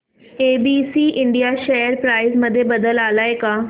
ABC India share price मध्ये बदल आलाय का